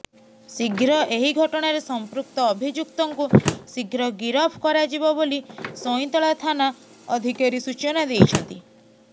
ଶୀଘ୍ର ଏହି ଘଟଣାରେ ସମ୍ପୃକ୍ତ ଅଭିଯୁକ୍ତଙ୍କୁ ଶୀଘ୍ର ଗିରଫ କରାଯିବ ବୋଲି ସଇଁତଳା ଥାନା ଅଧିକାରୀ ସୂଚନା ଦେଇଛନ୍ତି